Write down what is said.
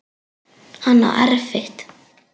Hann á erfitt.